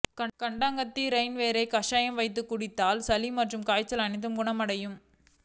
கண்டங்கத்திரியின் வேரை கஷாயம் வைத்து குடித்தால் சளி மற்றும் காய்ச்சல் அனைத்தும் குணமடையும்